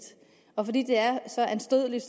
og fordi det er så anstødeligt